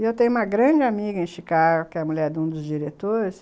E eu tenho uma grande amiga em Chicago, que é a mulher de um dos diretores.